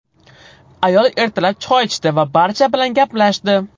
Ayol ertalab choy ichdi va barcha bilan gaplashdi.